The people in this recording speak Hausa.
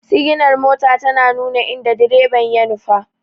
Siginar mota tana nuna inda direba ya nufa.